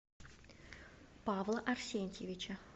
павла арсентьевича